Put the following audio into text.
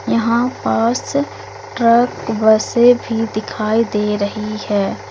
यहां पास ट्रक बसे भी दिखाई दे रही है।